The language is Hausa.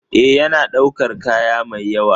Ee, yana ɗaukar kaya mai yawa.